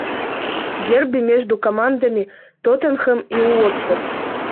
дерби между командами тоттенхэм и уотфорд